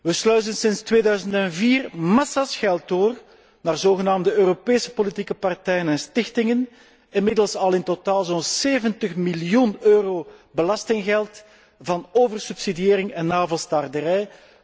Wij sluizen sinds 2004 massa's geld door naar zogenaamde Europese politieke partijen en stichtingen, inmiddels al in totaal zo'n 70 miljoen euro belastinggeld voor oversubsidiëring en navelstaarderij.